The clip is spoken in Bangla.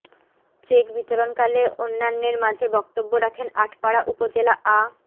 চেক বিতরণকালে অন্যান্যের মাঝে বক্তব্য রাখেন আটপাড়া উপজেলা আ